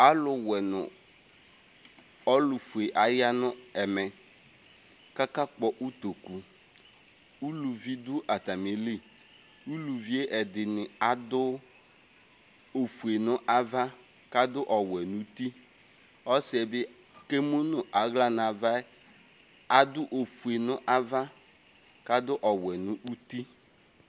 alo wɛ no ɔlo fue aya no ɛmɛ k'aka kpɔ utoku uluvi do atami li uluvie ɛdini ado ofue n'ava k'ado ɔwɛ n'uti ɔsiɛ bi kemu n'ala n'avaɛ ado ofue n'ava k'ado ɔwɛ n'uti